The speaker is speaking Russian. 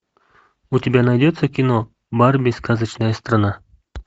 у тебя найдется кино барби сказочная страна